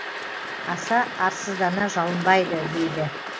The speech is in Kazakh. аса арсыздана жалынбайды дейді